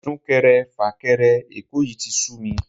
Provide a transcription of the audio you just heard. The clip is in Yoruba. Sún-kẹrẹ-fà-kẹrẹ Èkó yìí tí sú mi